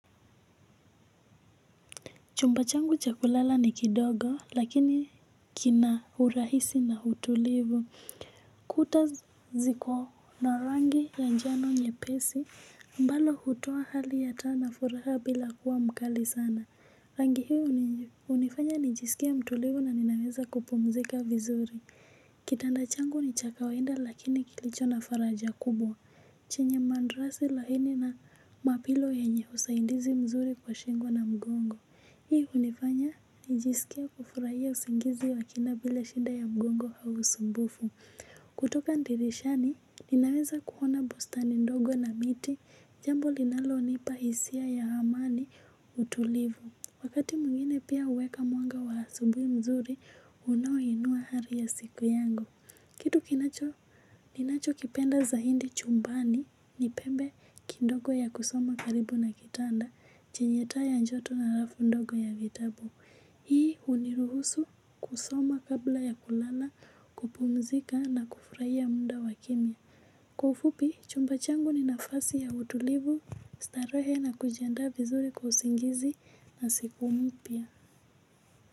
Chumba changu cha kulala ni kidogo lakini kina urahisi na utulivu. Kuta ziko na rangi ya njano nyepesi. Ambalo hutoa hali ya taa na furaha bila kuwa mkali sana. Rangi hii hunifanya nijisikie mtulivu na ninaweza kupumzika vizuri. Kitanda changu ni cha ka lwainda lakini kilicho na faraja kubwa. Chenye mandrasi laini na mapillow yenye usaidizi mzuri kwa shingo na mgongo. Hii hunifanya nijisikie kufurahia usingizi wa kina bila shida ya mgongo au usumbufu. Kutoka dirishani, ninaweza kuona bustani ndogo na miti, jambo linalonipa hisia ya amani, utulivu. Wakati mwingine pia huweka mwanga wa asubuhi mzuri, unoa inua ari ya siku yangu. Kitu kinacho, ninacho kipenda zaidi chumbani, ni pembe kidogo ya kusoma karibu na kitanda chenye taa ya joto na alafu ndogo ya vitabu. Hii huniruhusu kusoma kabla ya kulala, kupumzika na kufurahia muda wa kimya. Kwa ufupi, chumba changu ni nafasi ya utulivu, starehe na kujianda vizuri kwa usingizi na siku mpya.